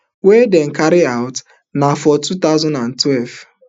wey dem carry out na for two thousand and twelve